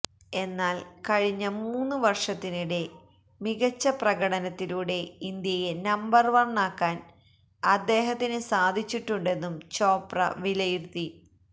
എന്നാല് കഴിഞ്ഞ മൂന്നു വര്ഷത്തിനിടെ മികച്ച പ്രകടനത്തിലൂടെ ഇന്ത്യയെ നമ്പര് വണ്ണാക്കാന് അദ്ദേഹത്തിനു സാധിച്ചിട്ടുണ്ടെന്നും ചോപ്ര വിലയിരുത്തി